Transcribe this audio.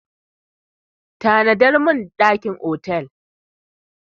Book a hotel room for me!